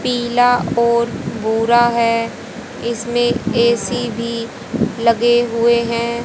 पीला और भूरा है इसमें ए_सी भी लगे हुए हैं।